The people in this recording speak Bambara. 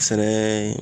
Sɛnɛ